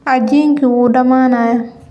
Cajiinkii wuu dhamaanayaa.